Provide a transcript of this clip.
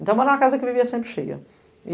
Então era uma casa que vivia sempre cheia.